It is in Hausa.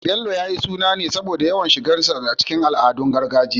Bello, ya yi suna ne saboda yawan shigarsa cikin al'adun gargajiya